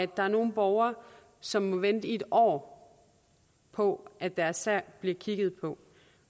der er nogle borgere som må vente i et år på at deres sag bliver kigget på